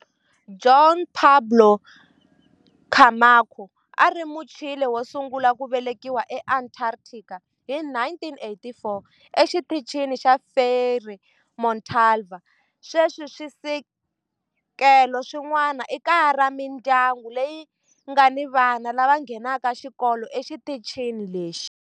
Juan Pablo Camacho a a ri Muchile wo sungula ku velekiwa eAntarctica hi 1984 eXitichini xa Frei Montalva. Sweswi swisekelo swin'wana i kaya ra mindyangu leyi nga ni vana lava nghenaka xikolo exitichini lexi.